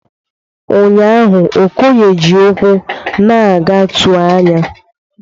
Ụnyahụ Okoye ji ụkwụ na-aga tụọ anya.